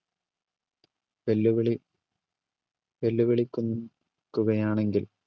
വെല്ലുവിളി വെല്ലുവിളിക്കു~കയാണെങ്കിൽ